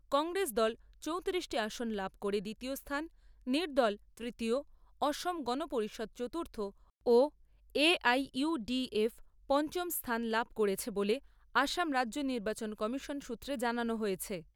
কংগ্রেস দল চৌতিরিশটি আসন লাভ করে দ্বিতীয় স্থান, নির্দল তৃতীয়, অসম গণ পরিষদ চতুর্থ ও A I U D F পঞ্চম স্থান লাভ করেছে বলে আসাম রাজ্য নির্বাচন কমিশন সূত্রে জানানো হয়েছে।